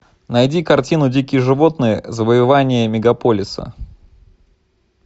найди картину дикие животные завоевание мегаполиса